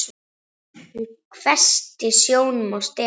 Hún hvessti sjónum á Stefán.